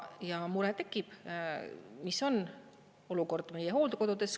Ja mure tekib, mis on olukord meie hooldekodudes.